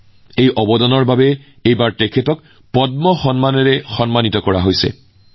এইবাৰ এই অৱদানৰ বাবে তেওঁক পদ্ম বঁটাও প্ৰদান কৰা হৈছে